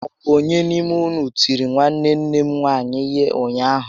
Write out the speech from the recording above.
Ọ bụ ónyé n'ime ụnụ tìrì nwanne nne m nwaanyị ihé ụnyaahụ?